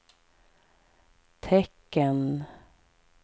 tecken